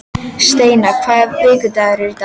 Steina, hvaða vikudagur er í dag?